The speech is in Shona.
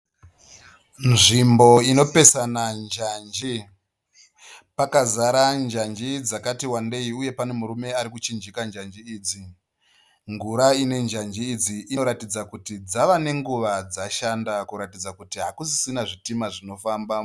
Nzvimbo inopesana njanji pakazara njanji dzakati wandei uye pane murume ari kuchinjika njanji idzi. Ngura ine njanji idzi inoratidza kuti dzava nenguva dzashanda kuratidza kuti hakusisina zvitima zvinofamba.